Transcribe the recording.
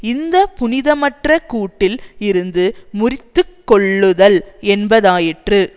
இந்த புனிதமற்ற கூட்டில் இருந்து முறித்து கொள்ளுதல் என்பதாயிற்று